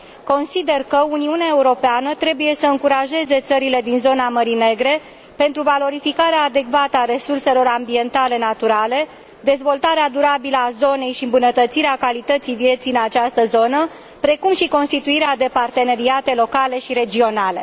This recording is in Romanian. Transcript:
Consider că Uniunea Europeană trebuie să încurajeze țările din zona Mării Negre, pentru valorificarea adecvată a resurselor ambientale naturale, dezvoltarea durabilă a zonei și îmbunătățirea calității vieții în această zonă, precum și constituirea de parteneriate locale și regionale.